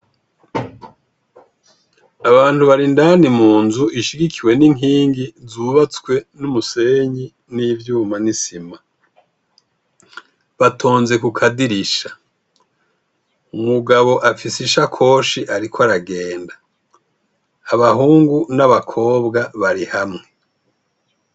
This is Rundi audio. Abantu bari indani mu nzu ishigikiwe n'inkingi zubatswe n'umusenyi n'ivyuma n'isima batonze ku kadirisha umugabo afise ishakoshi, ariko aragenda abahungu n'abakobwa bariha amu.